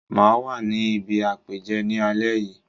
Mà á wà ní ibi àpèjẹ ní alé yìí.